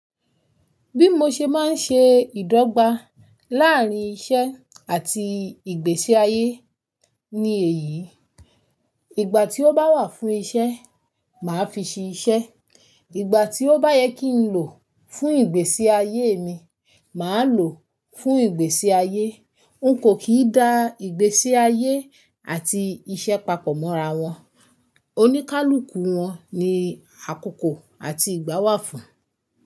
Bí mo ṣe máa ń ṣe ìdọ́gba láàrín iṣẹ́ àti ìgbésí ayé ni èyí: ìgbà tí ó bá wà fún iṣẹ́, màá fi ṣe iṣẹ́, ìgbà tí ó bá yẹ kí n lò fún ìgbésí ayé mi, màá lò fún ìgbésí ayé. N kò kì í da ìgbésí ayé àti iṣẹ́ papọ̀ mọ́ra wọn. Oníkálukú wọn ni àkókò àti ìgbà wà fún.